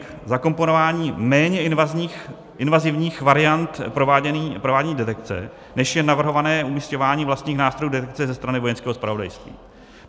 K zakomponování méně invazivních variant provádění detekce, než je navrhované umísťování vlastních nástrojů detekce ze strany Vojenského zpravodajství.